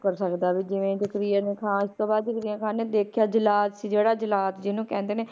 ਮੁਕਰ ਸਕਦਾ ਵੀ ਜਿਵੇਂ ਜ਼ਕਰੀਆ ਨੇ ਖ਼ਾਨ ਉਸ ਤੋਂ ਬਾਅਦ ਜ਼ਕਰੀਆ ਖ਼ਾਨ ਨੇ ਦੇਖਿਆ ਜਲਾਦ ਸੀ ਜਿਹੜਾ ਜਲਾਦ ਜਿਹਨੂੰ ਕਹਿੰਦੇ ਨੇ,